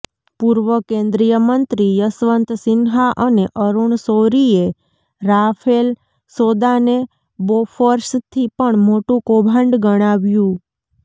પૂર્વ કેન્દ્રીય મંત્રી યશવંત સિન્હા અને અરૂણ શૌરીએ રાફેલ સોદાને બોફોર્સથી પણ મોટુ કૌભાંડ ગણાવ્યું